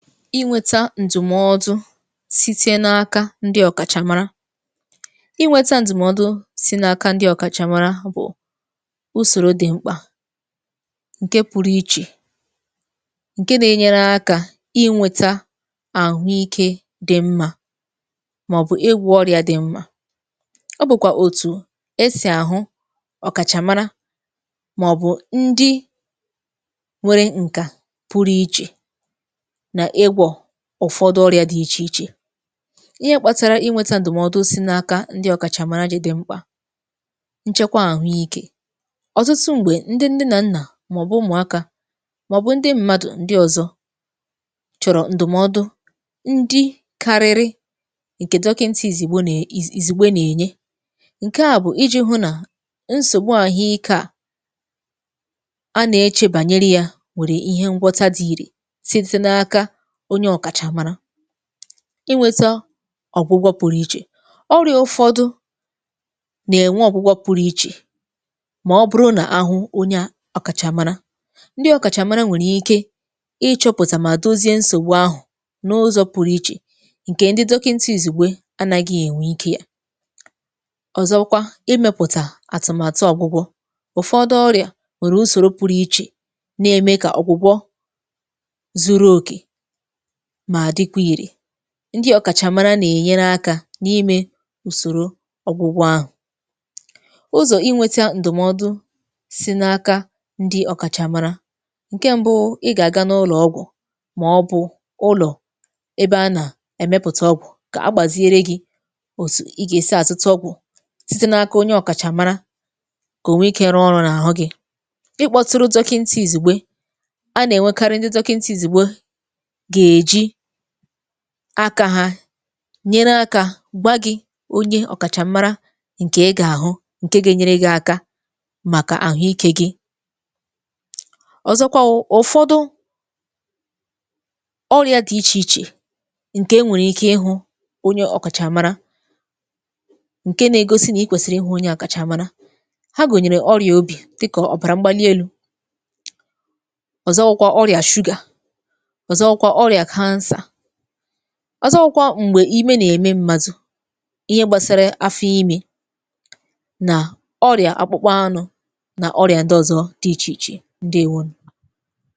Ịnweta ǹdùmọdụ̀ site n’aka ndi ọ̀kàchà mara. Ịnweta ǹdùmọdụ̀ si n’aka ndi ọ̀kàchà mara bụ̀ usòro dị̀ mkpà ǹke pụrụ ichè ǹke na-enyere aka ịnweta àhụ ike dị mma màọ̀bụ̀ ịgwọ ọrịà dị mma. Ọ bụ̀kwà òtù esì àhụ ọ̀kàchà mara màọ̀bụ̀ ndi nwere ǹkà pụrụ ichè na-ịgwọ ụ̀fọdụ ọrịa dị ichè ichè. Ihe kpatara ịnweta ǹdụ̀mọdụ si n’aka ndi ọ̀kàchà mara ji dị̇ mkpà nchekwa àhụ ike: ọ̀tụtụ m̀gbè ndi nne nà nnà màọbụ ụmụ̀akȧ màọbụ ndi mmadụ̀ ndi ọzọ chọ̀rọ̀ ǹdụ̀mọdụ ndi kariri ǹkè dọkịnta ìzìgbo nà ìzì ìzìgbe n’ènye, ǹke à bụ̀ iji̇ hụ nà nsògbu àhụike a a nà-echebànyere ya nwèrè ihe ngwọta dị ìrè síté n'aka onye ọ̀kàchà mara. Ịnweta ọ̀gwụgwọ pụ̀rụ ichè: ọrị̇a ụfọdụ nà-ènwe ọ̀gwụgwọ pụrụ ichè mà ọ bụrụ nà ahụ onye ọ̀kàchà mara. Ndị ọ̀kàchà mara nwèrè ike ị chọpụ̀tà mà dozie nsògbu ahụ̀ n’ụzọ pụ̀rụ ichè ǹkè ndị dọkịnta ìzìgbè anaghị ènwe ike ya. Ọ̀zọkwa, imepụ̀tà àtụ̀màtụ ọ̀gwụgwọ; ụ̀fọdụ ọrị̀à nwèrè usòro pụ̀rụ̀ ichè na-ème kà ọ̀gwụgwọ zuru òkè ma dịkwa ire. Ndị ọ̀kàchà mara nà-ènyere akȧ na-ime ùsòrò ọ̀gwụgwọ ahụ̀. Ụzọ̀ ịnweta ǹdụ̀mọdụ si n’aka ndị ọ̀kàchà mara; ǹke m̀bụ ị gà-àga n’ụlọ̀ ọgwụ̀ maọbụ ụlọ̀ ebe a nà-èmepùtà ọgwụ̀ kà agbàziere gi̇ òsò ị gà-èsi azụta ọgwụ̀ síté n’aka onye ọ̀kàchà mara kà o nwee ike rụọ ọrụ n’àhụ gị̇. Ịkpọtụrụ dọkịntị ìzìgbe a nà-ènwekari ndị dọkịntị ìzìgbe ga-eji aka ha nyere aka gwaa gị̇ onye ọ̀kàchà mara ǹkè ị ga-àhụ ǹke ga-enyere gi̇ aka màkà àhụ ike gị. Ọzọkwa wụ ụfọdụ ọrịa dị ichè ichè ǹkè enwèrè ike ịhụ onye ọ̀kàchà mara ǹke na-egosi nà i kwèsìrì ịhụ onye ọkàchà mara ha gụ̀nyèrè ọrịà obì dịkà ọ̀bàrà mgbalielu, ọ̀zọ wụkwa ọrịà sugar ọzọ wụ ọrịa cancer ọzọ wụkwa m̀gbè ime nà-ème m̀madụ ihe gbasara afọ ime nà ọrịa akpụkpa anụ nà ọrịa ǹdịọzọ dị ichè ichè, ǹdeewonụ.